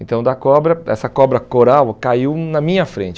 Então, da cobra essa cobra coral caiu na minha frente.